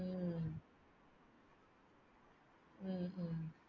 உம் உம்